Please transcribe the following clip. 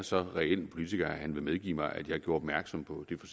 så reel en politiker at han vil medgive mig at jeg gjorde opmærksom på det